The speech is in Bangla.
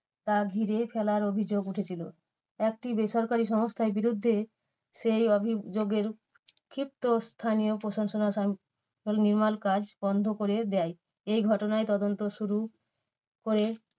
তা ঘিরে ফেলার অভিযোগ উঠেছিল। একটি বেসরকারি সংস্থার বিরুদ্ধে সেই অভিযোগের ক্ষিপ্ত স্থানীয় প্রশাসন নির্মাণ কাজ বন্ধ করে দেয়। এই ঘটনায় তদন্ত শুরু করে